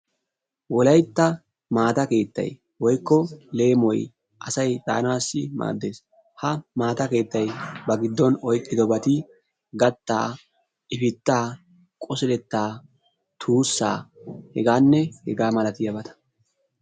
Wolaytta maata keettayi woykko leemoyi asayi daanaassi maaddes. Ha maata keettayi ba giddon oyqqidobati gattaa, ifittaa, qosilettaa, tuussaa hgaanne hegaa malatiyabata.